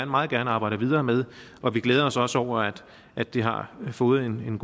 meget gerne arbejder videre med og vi glæder os også over at det har fået en